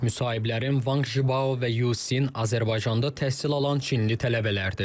Müsahiblərim Van Jibao və Yucin Azərbaycanda təhsil alan Çinli tələbələrdir.